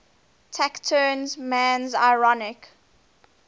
taciturn man's ironic